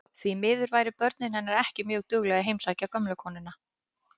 Því miður væru börnin hennar ekki mjög dugleg að heimsækja gömlu konuna.